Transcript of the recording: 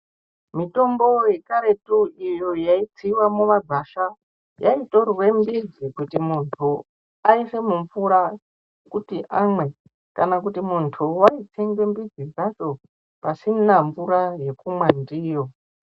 Mitombo yekaretu iyo yaitsiwa mumagwasha yaitorwe midzi kuti muntu aise mumvura kuti amwe kana kuti muntu waitsenga midzi dzacho pasina mbura yekumwa ndiyo.